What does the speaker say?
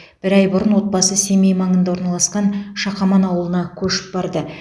бір ай бұрын отбасы семей маңында орналасқан шақаман ауылына көшіп барды